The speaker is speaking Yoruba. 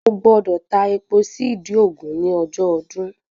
O gbọ́dọ̀ ta epo sí ìdí ògún ní ọjọ́ ọdún